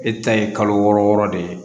E ta ye kalo wɔɔrɔ wɔɔrɔ de ye